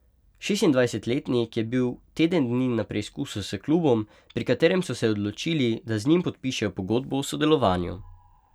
Šestindvajsetletnik je bil teden dni na preizkusu s klubom, pri katerem so se odločili, da z njim podpišejo pogodbo o sodelovanju.